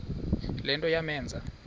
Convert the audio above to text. le nto yamenza